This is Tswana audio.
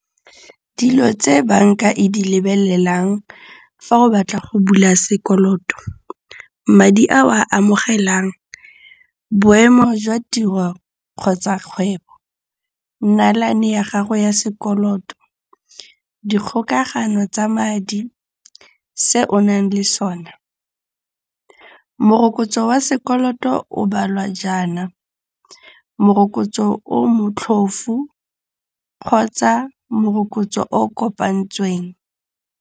Dilo tse banka e di lebelelang fa o batla go bula sekoloto. Madi a o a amogelang. Boemo jwa tiro kgotsa kgwebo. Nnalane ya gago ya sekoloto. Dikgokagano tsa madi. Se o nang le sona. Morokotso wa sekoloto o balwa jaana, morokotso o motlhofu kgotsa morokotso o kopantsweng.